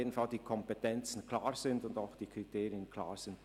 Jedenfalls müssen die Kompetenzen und auch die Kriterien klar sein.